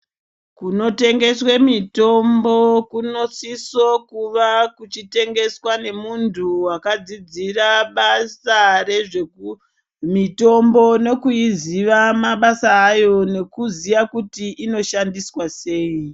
Kunotengeswe mitombo kunosiso kuva kuchitengeswa nemuntu wakadzidzira basa rezvemitombo nekuiziva mabasa ayo nekuziya kuti inoshandiswa sei.